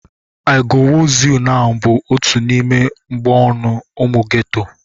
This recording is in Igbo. "I go wooz you nau!" bụ otu n'ime mgboonu ụmụ geto.